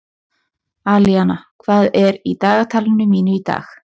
Alíana, hvað er í dagatalinu mínu í dag?